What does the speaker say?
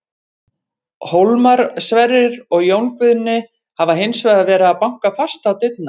Hólmar, Sverrir og Jón Guðni hafa hins vegar verið að banka fast á dyrnar.